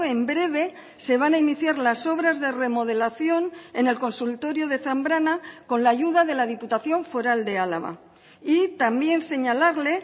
en breve se van a iniciar las obras de remodelación en el consultorio de zambrana con la ayuda de la diputación foral de álava y también señalarle